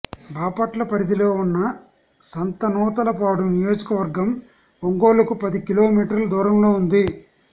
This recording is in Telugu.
బాపట్ల పరిధిలో ఉన్న సంతనూతలపాడు నియోజక వర్గం ఒంగోలుకు పది కిలో మీటర్ల దూరంలో ఉంది